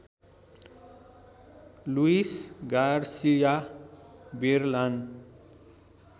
Louis Garcia बेरलान